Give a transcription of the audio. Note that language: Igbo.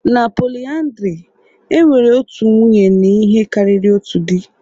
Na polyandry, e nwere otu nwunye na ihe karịrị otu di